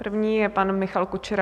První je pan Michal Kučera.